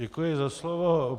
Děkuji za slovo.